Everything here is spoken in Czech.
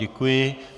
Děkuji.